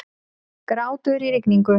Grátur í rigningu.